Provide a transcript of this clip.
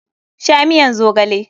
Sha miyan zogale!